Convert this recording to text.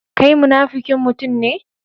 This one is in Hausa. Kai munafukin mutum ne.